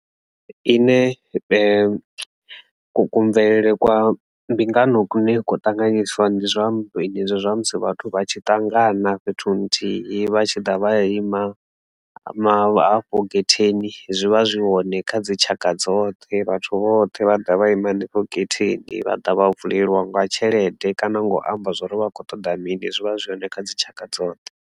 Ine ku kuamvelele kwa mbingano kune kwo tanganyiswa ndi zwenezwi zwine zwa musi vhathu vha tshi ṱangana fhethu nthihi vha tshi ḓa vha ima hafho getheni zwivha zwi hoṋe kha dzi tshaka dzoṱhe vhathu vhoṱhe vha ḓa vha ima hanefho getheni vha ḓa vha vulelwa nga tshelede kana ngo amba zwori vha kho ṱoḓa mini zwivha zwi hoṋe kha dzitshaka dzoṱhe.